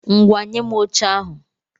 Ngwá, nye m oche ahụ!